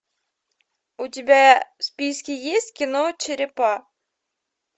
у тебя в списке есть кино черепа